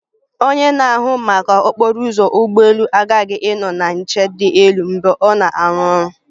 Onye na-ahụ maka okporo ụzọ ụgbọ elu aghaghị ịnọ na nche dị elu mgbe ọ na-arụ ọrụ